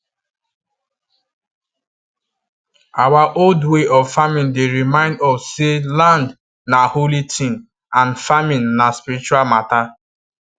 our old way of farming dey remind us say land na holy thing and farming na spiritual matter